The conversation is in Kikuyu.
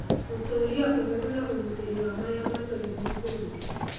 Gũtũũria ũtheru na ũgitĩri wa marĩa matũrigicĩirie